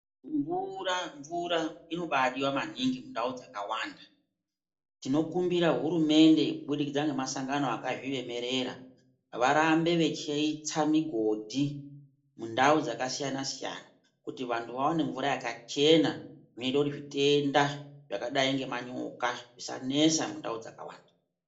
Mvura, mvura inobadiwa maningi mundau dzakawanda. Tinokumbira hurumende kubudikidza ngemasangano akazviemerera, varambe vechiitsa migodhi mundau dzakasiyana siyana kuti vantu vawane mvura yakachena inoite kuti zvitenda zvakadai ngemanyoka zvisanesa mundau dzakawanda.